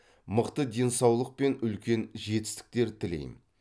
мықты денсаулық пен үлкен жетістіктер тілейм